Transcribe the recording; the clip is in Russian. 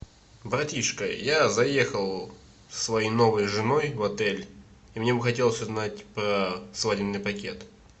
братишка я заехал со своей новой женой в отель и мне бы хотелось узнать про свадебный пакет